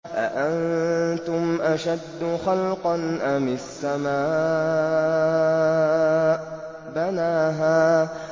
أَأَنتُمْ أَشَدُّ خَلْقًا أَمِ السَّمَاءُ ۚ بَنَاهَا